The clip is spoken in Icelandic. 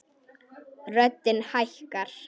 Röddin hækkar.